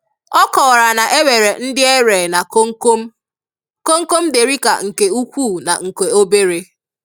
Ọ kọwara na e nwere ndị n'ere na komkom, komkom Derica nke ukwu na nke obere.